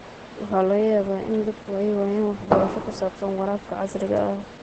Waxaa laga yaabaa in dadku ay waayaan waxbarasho ku saabsan waraabka casriga ah.